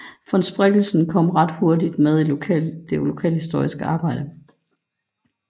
Von Spreckelsen kom ret hurtigt med i det lokalhistoriske arbejde